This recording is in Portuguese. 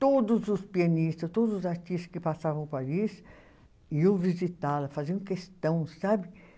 Todos os pianistas, todos os artistas que passavam Paris iam visitá-la, faziam questão, sabe?